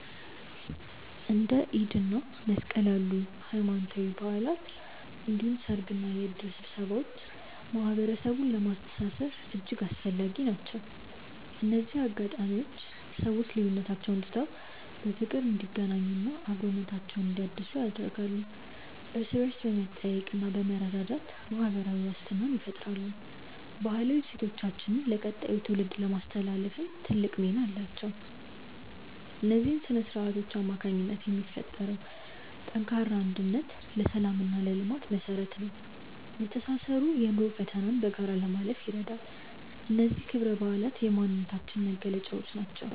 እንደ ኢድ እና መስቀል ያሉ ሃይማኖታዊ በዓላት እንዲሁም ሰርግና የእድር ስብሰባዎች ማህበረሰቡን ለማስተሳሰር እጅግ አስፈላጊ ናቸው። እነዚህ አጋጣሚዎች ሰዎች ልዩነቶቻቸውን ትተው በፍቅር እንዲገናኙና አብሮነታቸውን እንዲያድሱ ያደርጋሉ። እርስ በእርስ በመጠያየቅና በመረዳዳት ማህበራዊ ዋስትናን ይፈጥራሉ። ባህላዊ እሴቶቻችንን ለቀጣዩ ትውልድ ለማስተላለፍም ትልቅ ሚና አላቸው። በእነዚህ ስነ-ስርዓቶች አማካኝነት የሚፈጠረው ጠንካራ አንድነት ለሰላምና ለልማት መሰረት ነው። መተሳሰሩ የኑሮን ፈተና በጋራ ለማለፍ ይረዳል። እነዚህ ክብረ በዓላት የማንነታችን መገለጫዎች ናቸው።